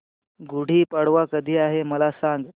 गुढी पाडवा कधी आहे मला सांग